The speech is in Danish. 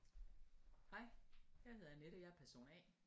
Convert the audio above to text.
Hej jeg hedder Annette jeg er person A